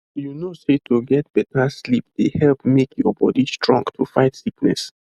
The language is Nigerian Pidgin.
you know sey to get better sleep dey help make your body strong to fight sickness